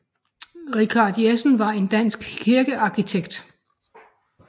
Richard Jessen var en dansk kirkearkitekt